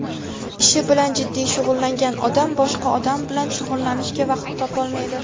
Ishi bilan jiddiy shug‘ullangan odam boshqa odam bilan shug‘ullanishga vaqt topolmaydi.